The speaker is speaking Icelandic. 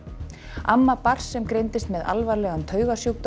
amma barns sem greindist með alvarlegan